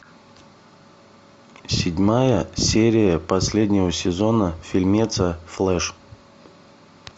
седьмая серия последнего сезона фильмеца флэш